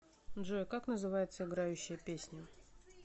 джой как называется играющая песня